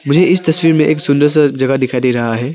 मुझे इस तस्वीर में एक सुंदर सा जगह दिखाई दे रहा है।